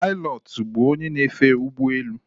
Pilọtụ bụ onye na-efe ụgbọelu